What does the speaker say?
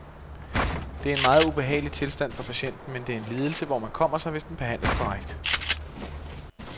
Det er en meget ubehagelig tilstand for patienten, men det er en lidelse, hvor man kommer sig, hvis den behandles korrekt.